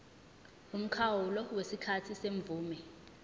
umkhawulo wesikhathi semvume